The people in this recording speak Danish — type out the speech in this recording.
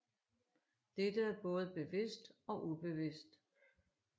Dette er både bevidst og ubevidst